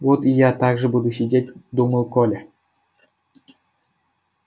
вот и я так же буду сидеть думал коля